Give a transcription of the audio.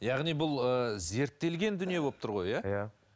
яғни бұл ыыы зерттелген дүние болып тұр ғой иә иә